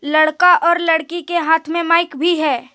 लड़का और लड़की के हाथ माइक भी है।